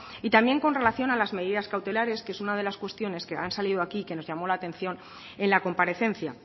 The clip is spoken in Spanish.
y también con relación a las medidas cautelares que es una de las cuestiones que han salido aquí que nos llamó la atención en la comparecencia